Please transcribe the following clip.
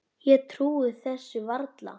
Ég trúi þessu varla.